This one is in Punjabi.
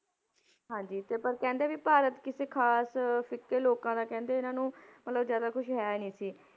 ਹਾਂਜੀ ਤੇ ਪਰ ਕਹਿੰਦੇ ਵੀ ਭਾਰਤ ਕਿਸੇ ਖ਼ਾਸ ਫ਼ਿਕੇ ਲੋਕਾਂ ਦਾ ਕਹਿੰਦੇ ਇਹਨਾਂ ਨੂੰ ਮਤਲਬ ਜ਼ਿਆਦਾ ਕੁਛ ਹੈ ਨੀ ਸੀ,